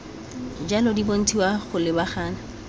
jalo di bontshiwa go lebagana